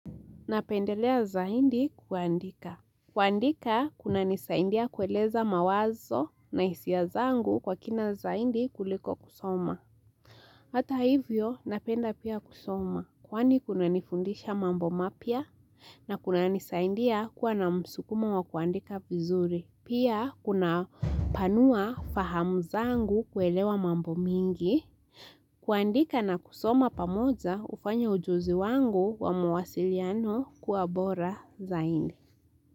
Napendelea zaindi kuandika. Kuandika, kuna nisaindia kueleza mawazo na hisia zangu kwa kina zaindi kuliko kusoma. Hata hivyo, napenda pia kusoma. Kwani kuna nifundisha mambo mapya na kuna nisaindia kwa na msukumo wa kuandika vizuri. Pia, kuna panua fahamu zangu kuelewa mambo mingi. Kuandika na kusoma pamoja hufanya hujuzi wangu wa muwasiliano kuwa bora zaindi.